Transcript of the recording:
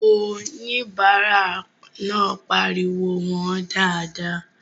Oníbàárà náà pariwo "wọ̀ọ́n dáadáa!"